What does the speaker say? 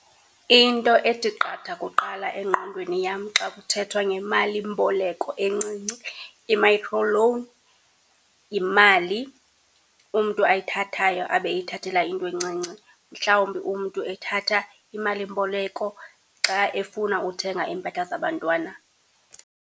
Into ethi qatha kuqala engqondweni yam xa kuthethwa ngemalimboleko encinci, i-microloan, yimali umntu ayithathayo abe eyithathela into encinci. Mhlawumbi umntu ethatha imalimboleko xa efuna uthenga iimpahla zabantwana.